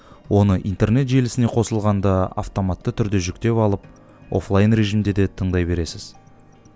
оны интернет желісіне қосылғанда автоматты түрде жүктеп алып офлайн режимде де тыңдай бересіз